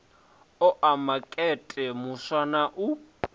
oa makete muswa na u